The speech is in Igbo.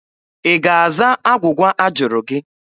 Ị ga-aza agwụgwa a jụrụ gị?